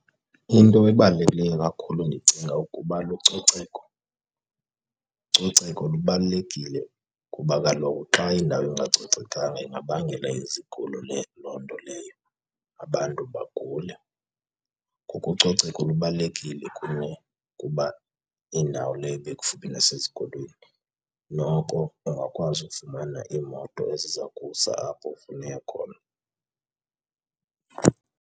Into ebalulekileyo kakhulu ndicinga ukuba lucoceko. Ucoceko lubalulekile kuba kaloku xa indawo ingacocekanga ingabangela izigulo loo nto leyo, abantu bagule. Ngoko ucoceko lubalulekile kuwe kuba indawo leyo ekufuphi nasezikolweni. Noko ungakwazi ukufumana iimoto eziza kusa apho ufuna ukuya khona.